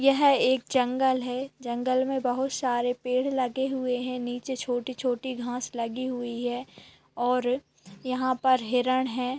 यह एक जंगल है जंगल मे बहोत सारे पेड़ लगे हुए है नीचे छोटी - छोटी घास लगी हुई है और यहाँ पर हिरण है।